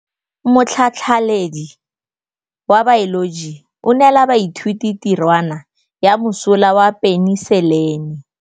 Motlhatlhaledi wa baeloji o neela baithuti tirwana ya mosola wa peniselene.